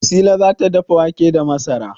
Wasila za ta dafa wake da masara.